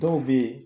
Dɔw bɛ ye